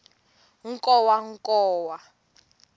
nkowankowa